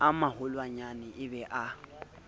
a maholwanyane e be a